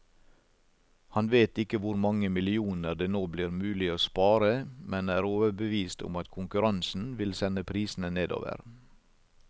Han vet ikke hvor mange millioner det nå blir mulig å spare, men er overbevist om at konkurransen vil sende prisene nedover.